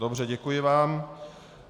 Dobře, děkuji vám.